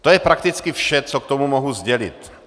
To je prakticky vše, co k tomu mohu sdělit.